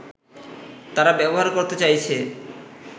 তারা ব্যবহার করতে চাইছে